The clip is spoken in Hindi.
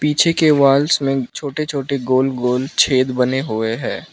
पीछे के वॉल्स मे छोटे छोटे गोल गोल छेद बने हुए है।